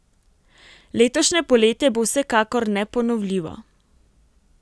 Letošnje poletje bo vsekakor neponovljivo.